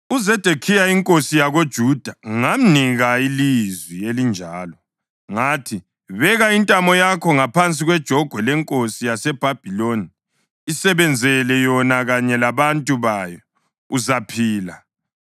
UZedekhiya inkosi yakoJuda ngamnika ilizwi elinjalo; Ngathi, “Beka intamo yakho ngaphansi kwejogwe lenkosi yaseBhabhiloni; isebenzele yona kanye labantu bayo, uzaphila.